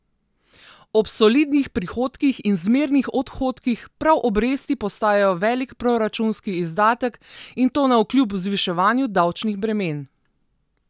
Ob solidnih prihodkih in zmernih odhodkih prav obresti postajajo velik proračunski izdatek in to navkljub zviševanju davčnih bremen.